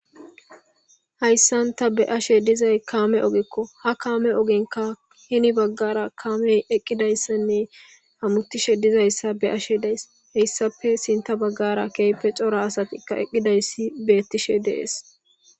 Hayssanta be ashe dizay kaame ogekko ha kaame ogenka hini baggara kaamey eqqidayssanne hammutishe dizayssa be ashe daes heyssafe sinta baggara keepe cora asatikka eqqidayssi beettishe dees.